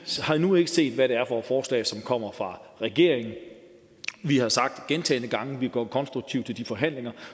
har endnu ikke set hvad det er for et forslag som kommer fra regeringen vi har sagt gentagne gange vi går konstruktivt til de forhandlinger